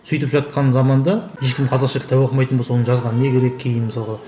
сөйтіп жатқан заманда ешкім қазақша кітап оқымайтын болса оны жазған не керек кейін мысалға